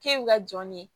K'e bɛ ka jɔn ne ye